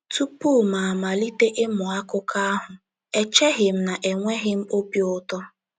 Tupu m malite ịmụ akụkọ ahụ, echeghị m na enweghị m obi ụtọ.